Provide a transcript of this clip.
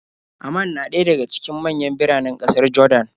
Amman na ɗaya daga cikin manyan biranen ƙasar Jordan.